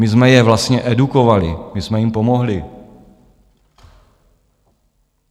My jsme je vlastně edukovali, my jsme jim pomohli.